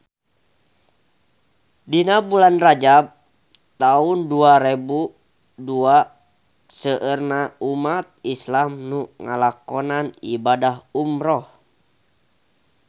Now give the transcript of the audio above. Dina bulan Rajab taun dua rebu dua seueur umat islam nu ngalakonan ibadah umrah